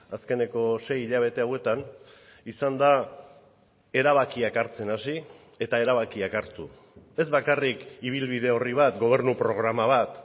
azkeneko sei hilabete hauetan izan da erabakiak hartzen hasi eta erabakiak hartu ez bakarrik ibilbide horri bat gobernu programa bat